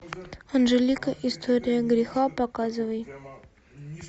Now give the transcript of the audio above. анжелика история греха показывай